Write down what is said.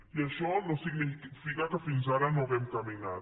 i això no significa que fins ara no hàgim caminat